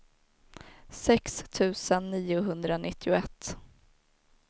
sex tusen niohundranittioett